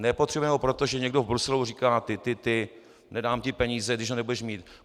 Nepotřebujeme ho proto, že někdo v Bruselu říká ty ty ty, nedám ti peníze, když ho nebudeš mít.